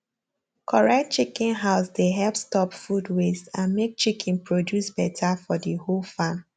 correct chicken house dey help stop food waste and make chicken produce better for the whole farm